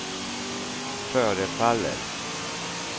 förefaller